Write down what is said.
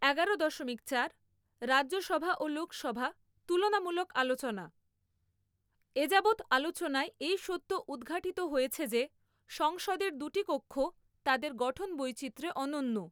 এগারো দশমিক চার, রাজ্যসভা ও লোকসভাঃ তুলনামূলক আলোচনা এযাবৎ আলোচনায় এই সত্য উদঘাটিত হয়েছে যে সংসদের দুটি কক্ষ তাদের গঠন বৈচিত্র্যে অনন্য।